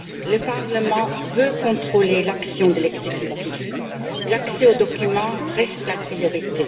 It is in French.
Le Parlement veut contrôler l'action de l'exécutif, l'accès aux documents reste la priorité.